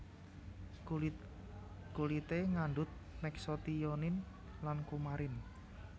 Kulit kulité ngandhut Mexotionin lan coumarin